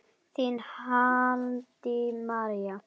Þín, Haddý María.